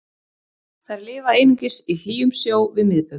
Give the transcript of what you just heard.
Þær lifa einungis í hlýjum sjó við miðbaug.